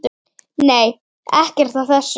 Nei, ekkert af þessu.